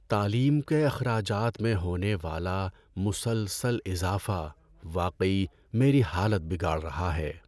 تعلیم کے اخراجات میں ہونے والا مسلسل اضافہ واقعی میری حالت بگاڑ رہا ہے۔